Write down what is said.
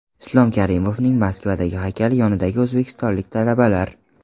Islom Karimovning Moskavadagi haykali yonidagi o‘zbekistonlik talabalar .